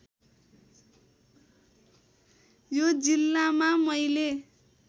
यो जिल्लामा मैले